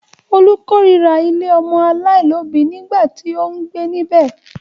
Olú kórira ilé ọmọ aláìlóòbí nígbà tí ó ń gbé níbẹ̀.